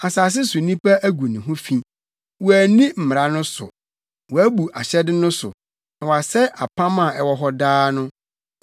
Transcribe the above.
Asase so nnipa agu ne ho fi; wɔanni mmara no so, wɔabu ahyɛde no so na wɔasɛe apam a ɛwɔ hɔ daa no.